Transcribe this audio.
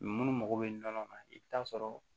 munnu mago bɛ nɔnɔ kan i bɛ taa sɔrɔ